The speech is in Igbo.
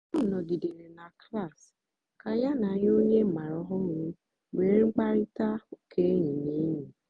ọ nọ̀gìdèrè na klas kà ya na ònyè ọ ọ mààra ọ̀hụrụ́ nwéé mkpáịrịtà ụ́ka ényì na ényì.